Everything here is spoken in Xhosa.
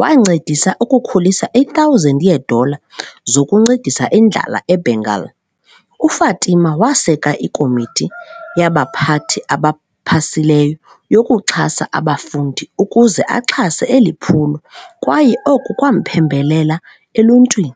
wancedisa ukukhulisa i-1000 yeedola zokunceda indlala e-Bengal. UFatima waseka iKomiti yabaPhathi abaPhasileyo yokuXhasa abafundi ukuze axhase eli phulo kwaye oku kwamphembelela eluntwini.